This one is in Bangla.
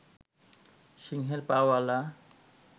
সিংহের পা ওয়ালা